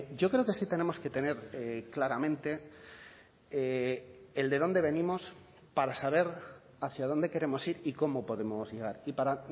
yo creo que sí tenemos que tener claramente el de dónde venimos para saber hacia dónde queremos ir y cómo podemos llegar y para